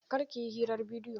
Kar ki yi hirar bidiyo!